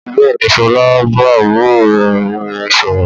Bẹ́ẹ̀ ni, Sọlá ń bá àbúrò rẹ̀ obìnrin sọ̀rọ̀.